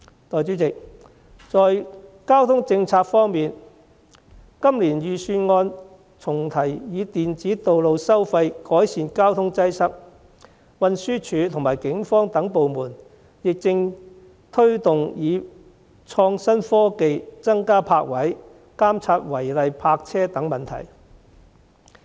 代理主席，交通政策方面，今年預算案重提以電子道路收費改善交通擠塞，運輸署和警方等部門亦正推動以創新科技增加泊車位、監察違例泊車等問題。